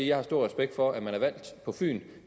jeg har stor respekt for at man er valgt på fyn